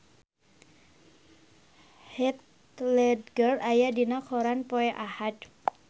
Heath Ledger aya dina koran poe Ahad